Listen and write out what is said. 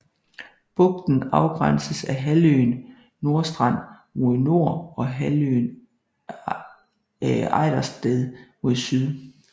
Bugten afgrænses af halvøen Nordstrand mod nord og halvøen Ejdersted mod syd